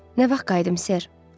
Nə vaxt qayıdım, ser?